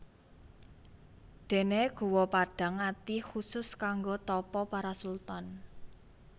Déné Guwa Padhang Ati khusus kanggo tapa para sultan